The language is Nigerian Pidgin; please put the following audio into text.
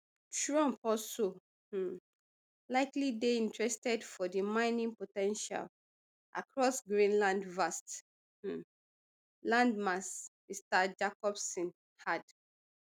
trump also um likely dey interested for di mining po ten tial across greenland vast um landmass mr jacobsen add